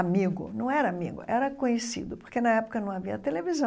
Amigo, não era amigo, era conhecido, porque na época não havia televisão.